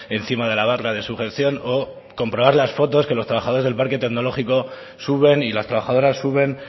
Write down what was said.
encima de la barra de sujeción o comprobar las fotos que los trabajadores del parque tecnológico suben y las trabajadoras suben